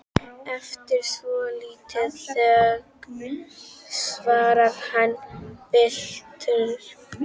Eftir svolitla þögn svarar hann biturt